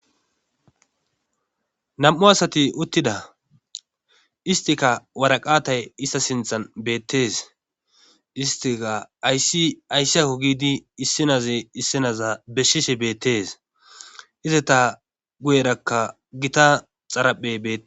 nam7u asati uttida istika waraqatay ista sinthan beettees istika ayssi ayssi ako gidi issinaze issinaza beshise beettees ize ta guyerakka gita xaraphe beee